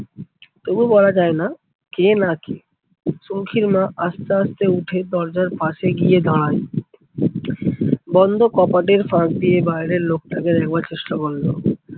তবু বলা যায় না কে না কে, সৌখীর মা আস্তে আস্তে উঠে দরজার পাশে গিয়ে দাঁড়ায়। বন্ধ কপাটের ফাঁক দিয়ে বাইরের লোকটাকে দেখবার চেষ্টা করলো।